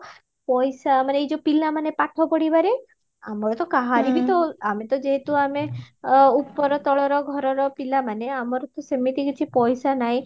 ପଇସା ମାନ ଏଇ ଯୋଉ ପିଲା ମାନେ ପାଠ ପଢିବାରେ ଆମର ତ କାହାରି ବି ତ ଆମେ ତ ଯେହେତୁ ଆମେ ଉପର ତଳର ଘରର ପିଲା ମାନେ ଆମର ତ ସେମିତି କିଛି ପଇସା ନାହିଁ